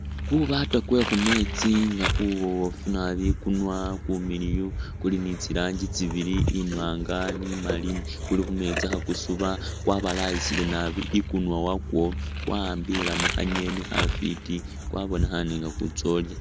Kubaata kwekhumeetsi nga kubofu naabi ikunywa kumiliyu kuli ni tsiragyi tsibili imwanga ni maali kuli khumeetsi khakusuba kwabayayilile ikunywa wako kwa'ambilemo kha'ngeni khafiti, kwabonekhane nga kutsa khulya